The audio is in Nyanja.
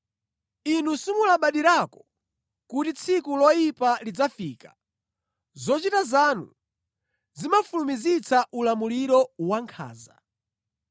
Inu simulabadirako kuti tsiku loyipa lidzafika, zochita zanu zimafulumizitsa ulamuliro wankhanza.